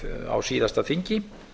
á síðasta þingi